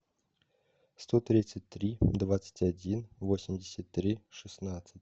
сто тридцать три двадцать один восемьдесят три шестнадцать